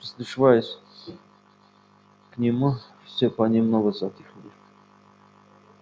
и прислушиваясь к нему все понемногу затихли